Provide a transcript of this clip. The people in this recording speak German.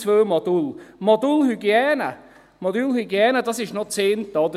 Das Modul Hygiene ist noch das eine.